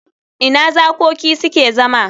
Ina zakoki suke zama?